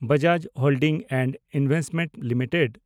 Bajaj holdings and investment limited